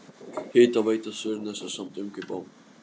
Hitaveita Suðurnesja samdi um kaup á